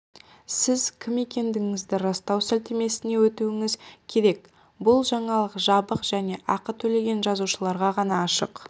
сіз кім екендігіңізді растау сілтемесіне өтуіңіз керек бұл жаңалық жабық және ақы төлеген жазылушыларға ғана ашық